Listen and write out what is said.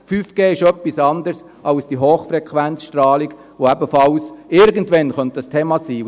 5G ist etwas anderes als die Hochfrequenzstrahlung, die ebenfalls irgendwann ein Thema sein könnte.